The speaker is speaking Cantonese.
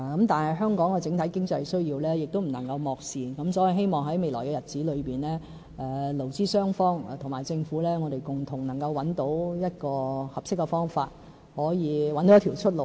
但是，香港的整體經濟需要亦不能夠漠視，所以我希望在未來日子裏，勞資雙方及政府能夠共同找到合適方法，可以找到一條出路。